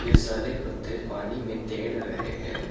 ये सारे पत्ते पानी मे तैर रहे है।